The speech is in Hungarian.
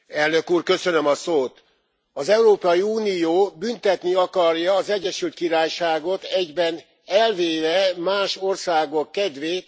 Az Európai Unió büntetni akarja az Egyesült Királyságot, egyben elvéve más országok kedvét egy esetleges kilépéstől.